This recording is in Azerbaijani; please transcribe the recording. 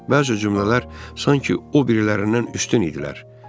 Bəzi cümlələr sanki o birilərindən üstün idilər.